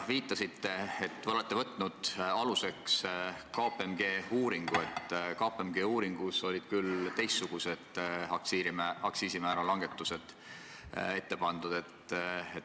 Te viitasite, et olete võtnud aluseks KPMG uuringu, aga et KPMG uuringus olid küll teistsugused aktsiisimäära langetused ette pandud.